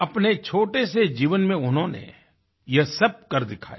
अपने छोटे से जीवन में उन्होंने ये सब कर दिखाया